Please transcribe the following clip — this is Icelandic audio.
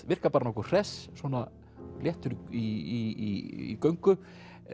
virkar bara nokkuð hress svona og léttur í göngu